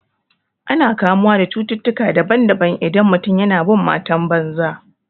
Ana kamuwa da cututtukan daban daban idan mutum yana bin matan banza